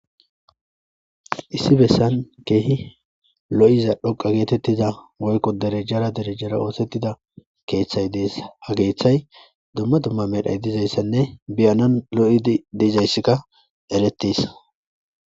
Issi bessan kehi lo'iza dhoqa getetiza woyko derejay derejay de'iza keethay de'es ha keethay duma duma medhoy de'izayssanne beyanaw lo'idi dizaysika eretees.